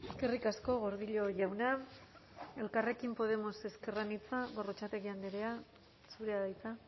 eskerrik asko gordillo jauna elkarrekin podemos ezker anitza gorrotxategi andrea zurea da hitza